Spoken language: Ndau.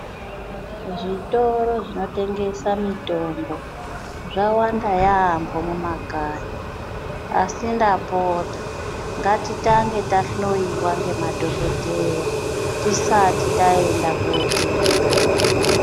Zvitoro zvinotengesa mitombo zvawanda yambo mumakanyi, asi ndapita ngatitenge tahloiwa ngemadhokodheya tisati taenda kotenga.